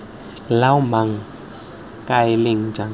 loa mang kae leng jang